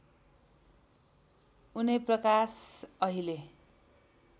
उनै प्रकाश अहिले